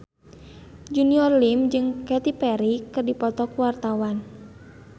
Junior Liem jeung Katy Perry keur dipoto ku wartawan